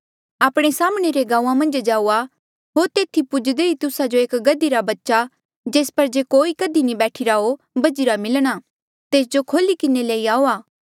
आपणे साम्हणें रे गांऊँआं मन्झ जाऊआ होर तेथी पुज्दे ई तुस्सा जो एक गधी रा बच्चा जेस पर जे कोई कधी नी बैठिरा हो बझिरा मिलणा तेस जो खोल्ही किन्हें लई आऊआ